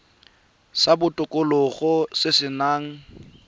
sa botokololo se se nang